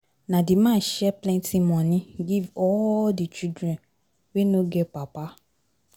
Na di man share plenty moni give all di children wey no get papa.